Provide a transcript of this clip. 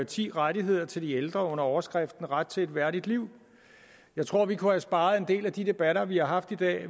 ti rettigheder til de ældre under overskriften ret til et værdigt liv jeg tror vi kunne have sparet en del af de debatter vi har haft i dag